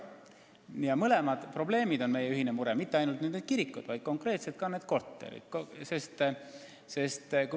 Need mõlemad probleemid on meie ühine mure – mitte ainult need kirikud, vaid konkreetselt ka need korterid.